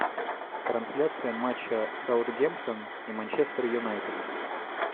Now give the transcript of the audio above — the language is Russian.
трансляция матча саутгемптон и манчестер юнайтед